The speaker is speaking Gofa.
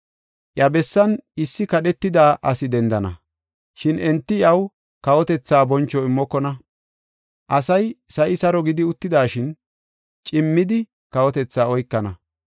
“Iya bessan issi kadhetida asi dendana; shin enti iyaw kawotetha boncho immokona. Asay sa7i saro gidi uttidashin, cimmidi kawotethaa oykana.